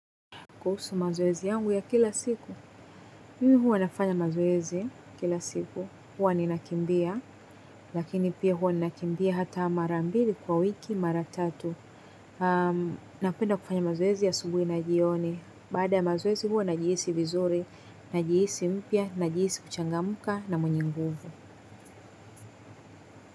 Kuhusu mazoezi yangu ya kila siku, mimi huwa nafanya mazoezi kila siku, huwa ninakimbia, lakini pia huwa nakimbia hata mara mbili kwa wiki, mara tatu. Napenda kufanya mazoezi asubuhi na jioni, baada ya mazoezi huwa najihisi vizuri, najihisi mpya, najihisi kuchangamka na mwenye nguvu.